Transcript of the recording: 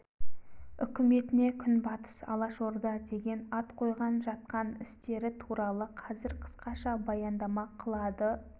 үкіметіне күнбатыс алашорда деген ат қойған жатқан істері туралы қазір қысқаша баяндама қылады